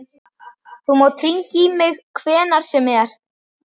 Þú mátt hringja í mig hvenær sem er.